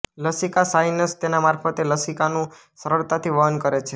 લસિકા sinus તેના મારફતે લસિકાનું સરળતાથી વહન કરે છે